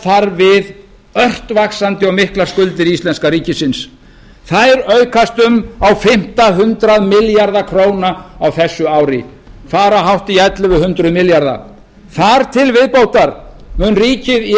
þar við ört vaxandi og miklar skuldir íslenska ríkisins þær aukast um á fimmta hundrað milljarða króna á þessu ári fara hátt í ellefu hundruð milljarða þar til viðbótar mun ríkið í